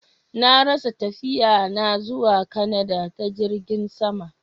Na rasa tafiya na zuwa kanada ta jirgin sama.